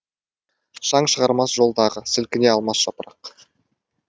шаң шығармас жол дағы сілкіне алмас жапырақ